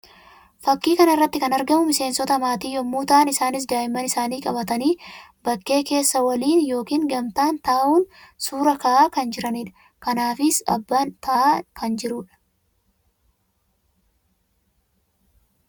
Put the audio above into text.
Fakkii kana irratti kan argamu miseensota maatii yammuu ta'an; isaannis daa'imman isaanii qabatanii bakkee keessa waliin yookiin gamtaan ta'uun suuraa ka'aa kan jiranii dha. Kanaanis abbaan taa'aa kan jiruu dha.